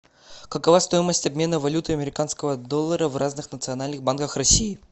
какова стоимость обмена валюты американского доллара в разных национальных банках россии